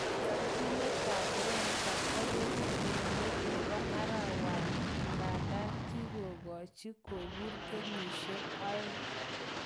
Koyochinet tab Wenger kobeku eng let nebo arawani igandan kokigochi kobur kenyishek aeng